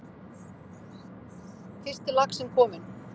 Fyrsti laxinn kominn